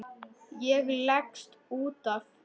Ég leggst út af.